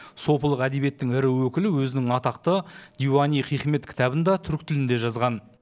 сопылық әдебиеттің ірі өкілі өзінің атақты диуани хикмет кітабын да түркі тілінде жазған